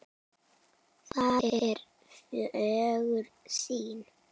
Það er fögur sýn.